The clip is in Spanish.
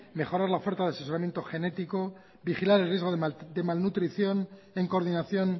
mejorar la oferta de asesoramiento genético vigilar el riesgo de malnutrición en coordinación